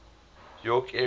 york area airports